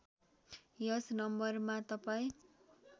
यस नम्बरमा तपाईँ